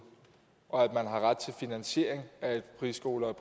og at man har ret til finansiering af et friskole